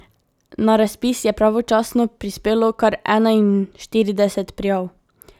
Na razpis je pravočasno prispelo kar enainštirideset prijav.